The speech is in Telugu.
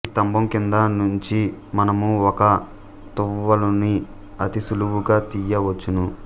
ఈ స్తంభం కింద నుంచి మనము ఒక తువ్వాలుని అతి సులువుగా తీయవచ్చును